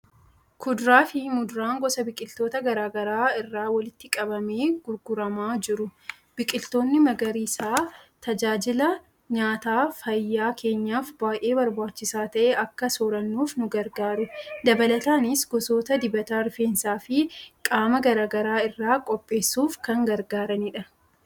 Kuduraa fi muduraa gosa biqiltootaa garaa garaa irraa walitti qabamee gurguramaa jiru. Biqiltoonni magariisni tajaajila nyaataa fayyaa keenyaaf baay'ee barbaachisaa ta'e akka soorannuuf nu gargaaru. Dabalataanis gosoota dibata rifeensaa fi qaamaa garaa garaa irraa qopheessuuf kan gargaaranidha.